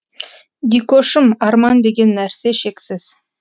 дикошым арман деген нәрсе шексіз